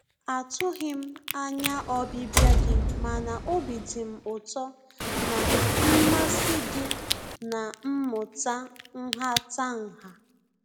A tụghị m anya ọbịbịa gị mana obi dị m ụtọ na mmasị gị na mmụta nhatanha.